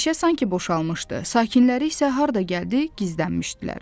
Meşə sanki boşalmışdı, sakinləri isə harda gəldi gizlənmişdilər.